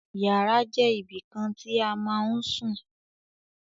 Yàrá jẹ́ ibìkan tí a ma ń sùn.